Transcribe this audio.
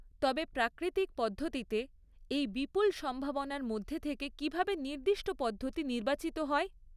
তবে প্রাকৃতিক পদ্ধতিতে এই বিপুল সম্ভাবনার মধ্যে থেকে কীভাবে নির্দিষ্ট পদ্ধতি নির্বাচিত হয়?